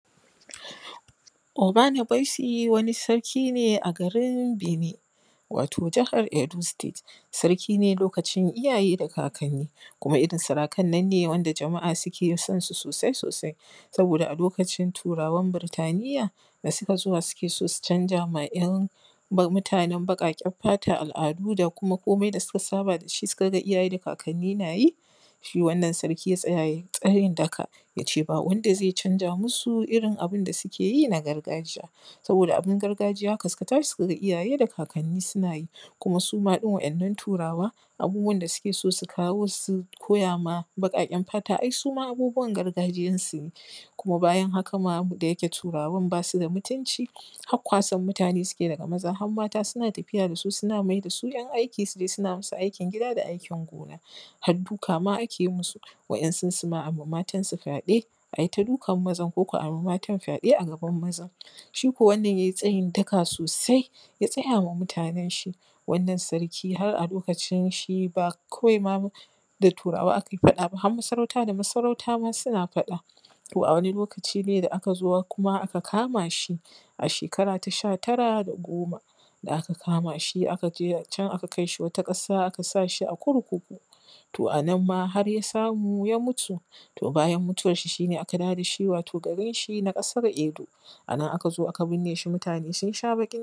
Obanabaisi wani sarki ne a garin Binin wato jahar Edo state, sarki ne lokacin iyaye da kakanni, kuma ita sarakan nan ne da jama’a suke san su sosai. Saboda a lokacin turawan Burtaniya da suke sowa su canza ma ‘yan mutanen baƙaƙen fata al’adu da kuma komai da suka saba da shi suka iyaye da kakanni na yi. Shi wannan sarki ya tsaya ya yi tsayin daka, y a ce ba wanda zai canza masu irin abin da suke yin a gargajiya. Saboda abin gargajiya haka suka tashi suka ga iyaye da kakanni suna yi, kuma su ma ɗin wa’yannan turawa abubuwan da suke so su kawo, su koyama baƙaƙen fata ai suma abubuwan gargajiyan su ne. kuma ma bayan haka ma turawan bas u da mutunci, hak kwasan mutane ne suke yi daga maza han mata, suna tafiya da su, suna mayar da su ‘yan aiki, su je suna masu aikin gida da aikin gona. Had duka ma ake masu, wasu su ma a yi ma matan fyaɗe, a yi ta dukan mazan ko kuma a yi ma matan fyaɗe a gaban mazan. Shiko wannan yai tsayin daka sosai, ya tsayawa matanen shi. Wannan sarkin har a lokacin shi ba kowai da turawa a kai faɗa ba, har masarauta da masarauta ma suna faɗa. ko a wani lokaci dai da aka zo kuma aka kama shi a shekara ta sha tara da goma, da aka kama shi aka je can aka kai shi wata ƙasa aka sa shi a kurkuku. To a nan ma har ya samu ya mutu, to bayan muwan shi aka aka dawo da shi garin shin a ƙasar Edo. A nan aka zo aka binne shi, mutane sun shs baƙin.